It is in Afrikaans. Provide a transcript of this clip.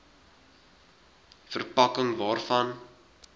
ver pakking waarvan